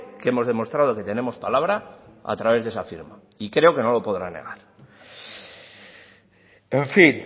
que hemos demostrado que tenemos palabra a través de esa firma y creo que no lo podrá negar en fin